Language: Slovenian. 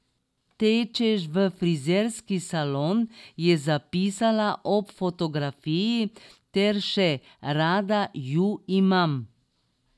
Tečeš v frizerski salon,' je zapisala ob fotografiji ter še: 'Rada ju imam'.